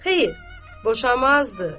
Xeyr, boşamazdı.